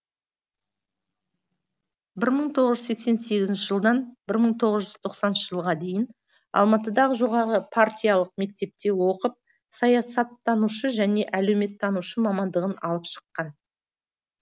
бір мың тоғыз жүз сексен сегізінші жылдан бір мың тоғыз жүз тоқсаныншы жылға дейін алматыдағы жоғарғы партиялық мектепте оқып саясаттанушы және әлеуметтанушы мамандығын алып шыққан